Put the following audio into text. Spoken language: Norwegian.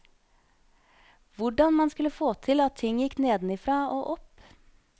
Hvordan man skulle få til at ting gikk nedenifra og opp.